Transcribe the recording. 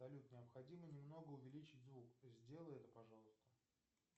салют необходимо немного увеличить звук сделай это пожалуйста